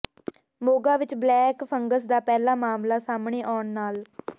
ਮੋਗਾ ਵਿੱਚ black fungus ਦਾ ਪਹਿਲਾ ਮਾਮਲਾ ਸਾਹਮਣੇ ਆਉਣ ਨਾਲ